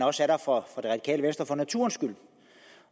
også er der for naturens skyld